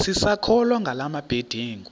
sisakholwa ngala mabedengu